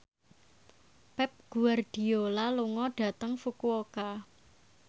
Pep Guardiola lunga dhateng Fukuoka